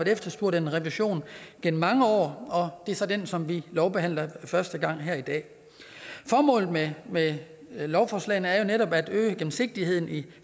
efterspurgt en revision gennem mange år og det er så den som vi lovbehandler første gang her i dag formålet med med lovforslagene er jo netop at øge gennemsigtigheden i